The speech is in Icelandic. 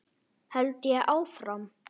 held ég áfram.